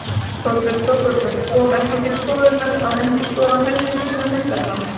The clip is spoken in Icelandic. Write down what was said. Þorbjörn Þórðarson: Kom ekki til skoðunar að endurskoða hæfi þessa nefndarmanns?